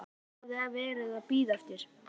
Þetta var það sem ég hafði verið að bíða eftir.